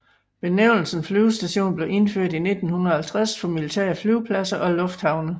Benævnelsen flyvestation blev indført i 1950 for militære flyvepladser og lufthavne